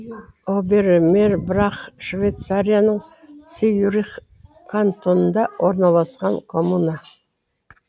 оберемербрах швейцарияның цюрих кантонында орналасқан коммуна